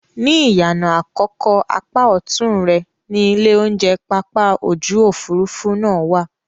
Ní ìyànà àkọ́kọ́ apá ọ̀tún rẹ ni ilé-oúnjẹ pápá ojú-òfurufú náà wà